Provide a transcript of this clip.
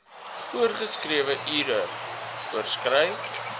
voorgeskrewe ure oorskry